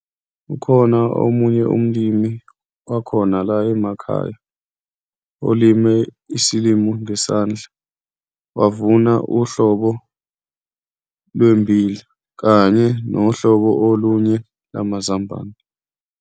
Ukhona omunye umlimi wakhona la emakhaya olime isilimo ngesandla, wavuna uhlobo lwemmbila kanye nohlobo olunye lamazambane.